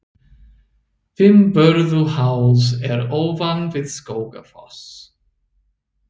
Fimmvörðuháls er ofan við Skógafoss.